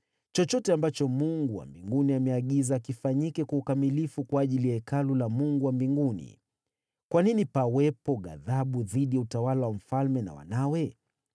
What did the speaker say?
Chochote ambacho Mungu wa mbinguni ameagiza, kifanyike kwa ukamilifu kwa ajili ya Hekalu la Mungu wa mbinguni. Kwa nini pawepo ghadhabu dhidi ya utawala wa mfalme na wanawe?